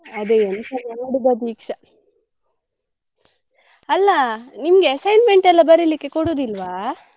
ಅದೇ ಎಂತ ಮಾಡುದ ದೀಕ್ಷಾ, . ಅಲ್ಲ ನಿಮ್ಗೆ assignment ಎಲ್ಲ ಬರೀಲಿಕ್ಕೆ ಕೊಡುದಿಲ್ವ.